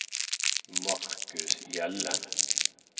Marcus Hjelle